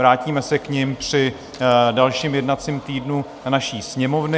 Vrátíme se k němu při dalším jednacím týdnu naší Sněmovny.